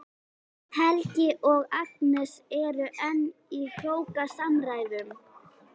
Helgi og Agnes eru enn í hrókasamræðum.